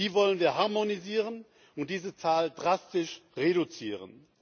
Die wollen wir harmonisieren und diese Zahl drastisch reduzieren.